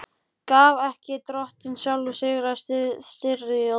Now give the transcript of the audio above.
Gaf ekki Drottinn sjálfur sigra í styrjöldum?